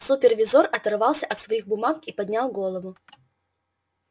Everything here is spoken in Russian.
супервизор оторвался от своих бумаг и поднял голову